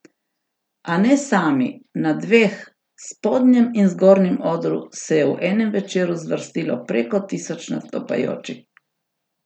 A ne sami, na dveh, spodnjem in zgornjem odru se je v enem večeru zvrstilo preko tisoč nastopajočih!